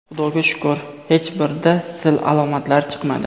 Xudoga shukr, hech birida sil alomatlari chiqmadi.